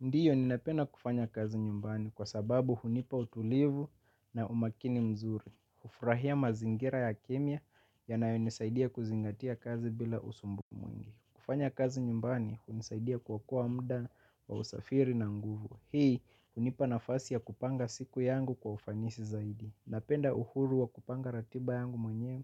Ndiyo ninapenda kufanya kazi nyumbani kwa sababu hunipa utulivu na umakini mzuri. Hufurahia mazingira ya kimya yanayonisaidia kuzingatia kazi bila usumbufu mwingi. Kufanya kazi nyumbani hunisaidia kuokoa muda wa usafiri na nguvu. Hii, hunipa nafasi ya kupanga siku yangu kwa ufanisi zaidi. Napenda uhuru wa kupanga ratiba yangu mwenyewe